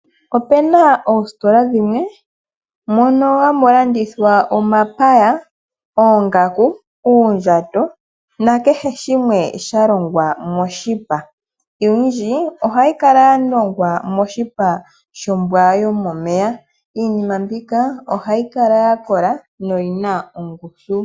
Opu na oositola dhimwe mono hamu landithwa omapaya, oongaku, uundjato nakehe shimwe sha longwa moshipa oyindji ohayi kala moshipa shombwa yomomeya iinima mbika ohayi kala ya kola noyina ongushu.